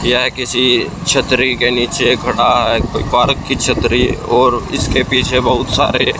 यह किसी छतरी के नीचे खड़ा कोई पारक की छतरी और इसके पिछे बहुत सारे--